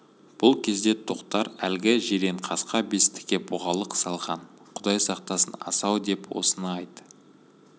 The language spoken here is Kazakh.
бұл кезде тоқтар әлгі жиренқасқа бестіге бұғалық салған құдай сақтасын асау деп осыны айт